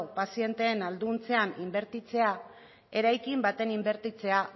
pazienteen ahalduntzean inbertitzea eraikin baten inbertitzea